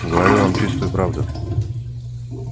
говорю вам чистую правду